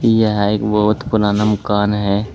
यह एक बहुत पुराना मकान है।